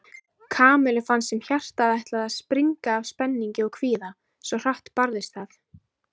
Kamillu fannst sem hjartað ætlaði að springa af spenningi og kvíða, svo hratt barðist það.